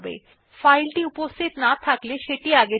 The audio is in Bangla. যদি ফাইলটি উপস্থিত না থাকে সেটি নির্মিত হয়